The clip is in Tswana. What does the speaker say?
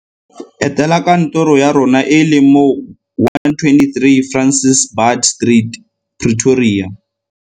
Etela kantoro ya rona e e leng mo 123 Francis Baard Street, Pretoria.